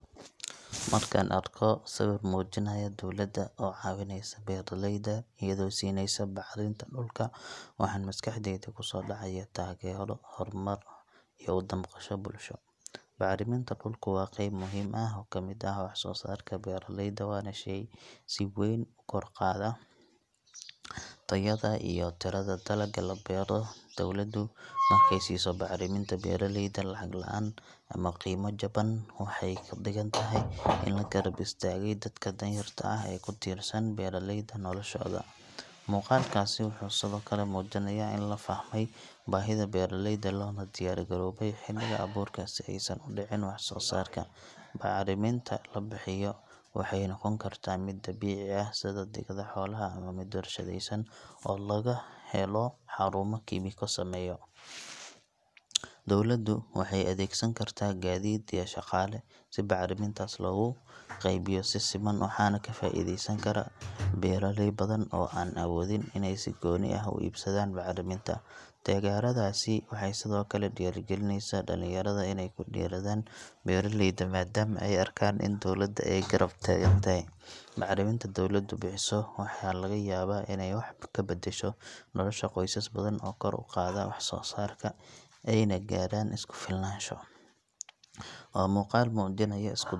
Markaan arko sawir muujinaya dawladda oo caawineysa beeraleyda iyadoo siinaysa bacrinta dhulka waxaan maskaxdayda ku soo dhacaya taageero, horumar iyo u damqasho bulsho. Bacriminta dhulku waa qayb muhiim ah oo ka mid ah waxsoosaarka beeraleyda, waana shey si weyn u kor u qaada tayada iyo tirada dalagga la beero. Dawladdu markay siiso bacriminta beeraleyda lacag la’aan ama qiimo jaban waxay ka dhigan tahay in la garab istaagay dadka danyarta ah ee ku tiirsan beeralayda noloshooda. Muuqaalkaasi wuxuu sidoo kale muujinayaa in la fahmay baahida beeraleyda loona diyaar garoobay xilliga abuurka si aysan u dhicin waxsoosaarka. Bacriminta la bixiyo waxay noqon kartaa mid dabiici ah sida digada xoolaha ama mid warshadaysan oo laga helo xarumo kiimiko sameeya. Dawladdu waxay adeegsan kartaa gaadiid iyo shaqaale si bacrimintaas loogu qaybiyo si siman, waxaana ka faa’iideysan kara beeraley badan oo aan awoodin inay si gooni ah u iibsadaan bacriminta. Taageeradaasi waxay sidoo kale dhiirrigelinaysaa dhalinyarada inay ku dhiiradaan beeralayda maadaama ay arkaan in dawladda ay garab taagan tahay. Bacriminta dawladdu bixiso waxa laga yaabaa inay wax ka beddesho nolosha qoysas badan oo kor u qaada waxsoosaarkooda ayna gaaraan isku filnaansho. Waa muuqaal muujinaya isku .